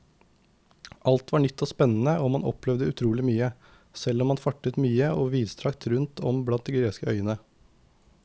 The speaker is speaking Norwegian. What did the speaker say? Alt var nytt og spennende og man opplevde utrolig mye, selv om man fartet mye og vidstrakt rundt om blant de greske øyene.